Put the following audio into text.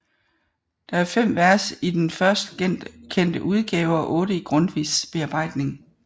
Der er fem vers i den først kendte udgave og otte i Grundtvigs bearbejdning